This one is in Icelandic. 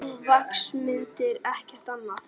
Nú, vaxmyndir, ekkert annað.